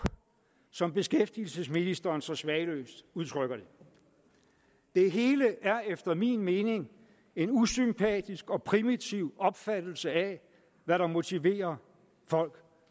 som beskæftigelsesministeren så smagløst udtrykker det det hele er efter min mening en usympatisk og primitiv opfattelse af hvad der motiverer folk